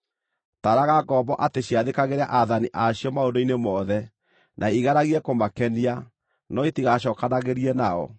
Taaraga ngombo atĩ ciathĩkagĩre aathani a cio maũndũ-inĩ mothe, na igeragie kũmakenia, no itigacookanagĩrie nao,